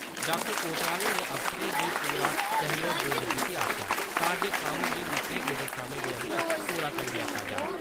डॉ. कोतवाल होरें अफसरें गी पूरा सहयोग देने गित्तै आक्खेआ तां जे कम्म गी मित्थे गेदे समें दे अन्दर पूरा करी लैता जा।